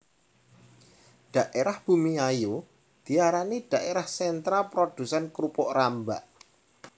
Dhaérah Bumiayu diarani dhaérah sentra produsén krupuk rambak